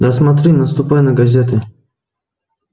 да смотри наступай на газеты